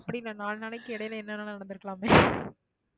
அப்படி இல்லை நாலு நாளைக்கு இடையில என்ன வேணாலும் நடந்திருக்கலாமே